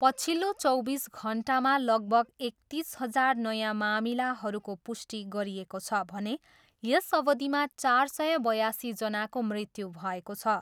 पछिल्लो चौबिस घन्टामा लगभग एकतिस हजार नयाँ मामिलाहरूको पुष्टि गरिएको छ भने यस अवधिमा चार सय बयासीजनाको मृत्यु भएको छ।